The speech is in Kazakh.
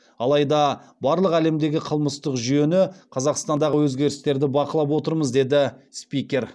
алайда барлық әлемдегі қылмыстық жүйені қазақстандағы өзгерістерді бақылап отырмыз деді спикер